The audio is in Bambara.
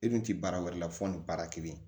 E dun tɛ baara wɛrɛ la fɔ nin baara kelen